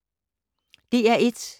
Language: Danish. DR1